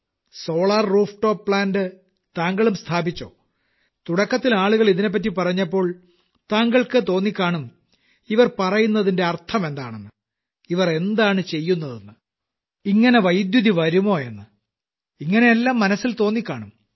solar roof top plant താങ്കളും സ്ഥാപിച്ചോ തുടക്കത്തിൽ ആളുകൾ ഇതിനെപ്പറ്റി പറഞ്ഞപ്പോൾ താങ്കൾക്ക് തോന്നിക്കാണും ഇവർ പറയുന്നതിന്റെ അർത്ഥമെന്താണെന്ന് ഇവർ എന്താണ് ചെയ്യുന്നതെന്ന് ഇങ്ങനെ വൈദ്യുതി വരുമോ എന്ന് ഇങ്ങനെയെല്ലാം മനസ്സിൽ തോന്നിക്കാണും